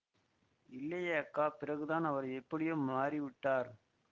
இல்லையே அக்கா பிறகுதான் அவர் எப்படியோ மாறிவிட்டார்